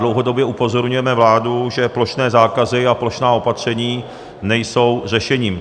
Dlouhodobě upozorňujeme vládu, že plošné zákazy a plošná opatření nejsou řešením.